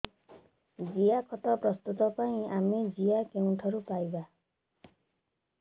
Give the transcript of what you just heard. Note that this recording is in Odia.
ଜିଆଖତ ପ୍ରସ୍ତୁତ ପାଇଁ ଆମେ ଜିଆ କେଉଁଠାରୁ ପାଈବା